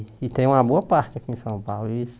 E tem uma boa parte aqui em São Paulo.